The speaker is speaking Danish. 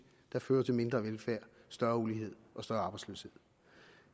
der fører til mindre velfærd større ulighed og større arbejdsløshed